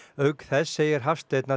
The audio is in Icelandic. auk þess segir Hafsteinn að